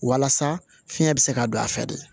Walasa fiɲɛ bɛ se ka don a fɛ de